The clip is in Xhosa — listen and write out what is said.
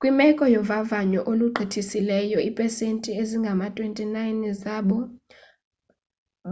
kwimeko yovavanyo olugqithisileyo iipesenti ezingama-29 zabo